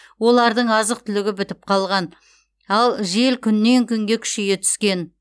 олардың азық түлігі бітіп қалған ал жел күннен күнге күшейе түскен